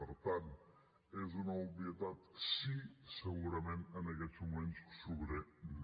per tant és una obvietat sí segurament en aquests moments sobrer no